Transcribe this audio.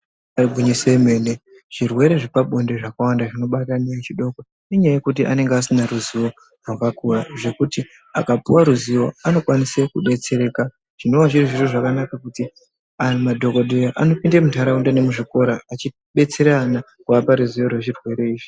Ibari gwinyiso remene zvirwere zvepabonde zvakawanda zvinobata ana echidoko ngenyaya yekuti anenge asina ruzivo rwakakura zvekuti akapuwa ruzivo anokwanisa kudetsereka zvinova zviri zviro zvakanaka kuti madhokoteya anopinda mundaraunda nemuzvikora achidetsera ana kuvapa ruzivo rwechirwere ichi.